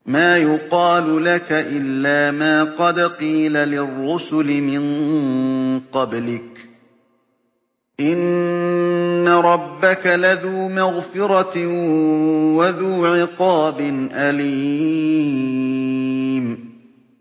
مَّا يُقَالُ لَكَ إِلَّا مَا قَدْ قِيلَ لِلرُّسُلِ مِن قَبْلِكَ ۚ إِنَّ رَبَّكَ لَذُو مَغْفِرَةٍ وَذُو عِقَابٍ أَلِيمٍ